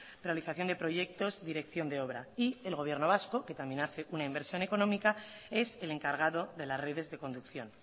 realización de proyectos dirección de obra y el gobierno vasco que también hace una inversión económica es el encargado de las redes de conducción